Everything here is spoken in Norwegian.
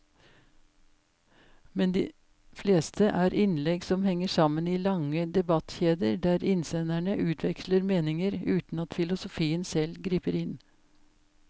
Men de fleste er innlegg som henger sammen i lange debattkjeder der innsenderne utveksler meninger uten at filosofen selv griper inn.